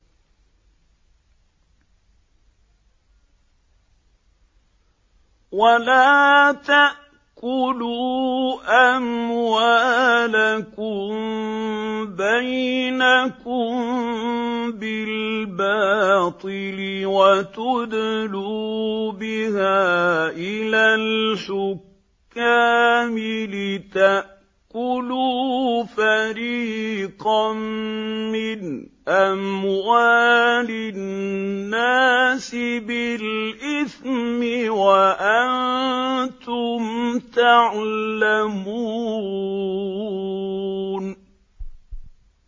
وَلَا تَأْكُلُوا أَمْوَالَكُم بَيْنَكُم بِالْبَاطِلِ وَتُدْلُوا بِهَا إِلَى الْحُكَّامِ لِتَأْكُلُوا فَرِيقًا مِّنْ أَمْوَالِ النَّاسِ بِالْإِثْمِ وَأَنتُمْ تَعْلَمُونَ